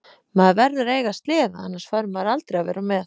Maður verður að eiga sleða annars fær maður aldrei að vera með.